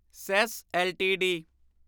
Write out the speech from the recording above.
says LTD